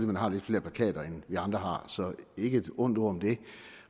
man har lidt flere plakater end vi andre har så ikke et ondt ord om det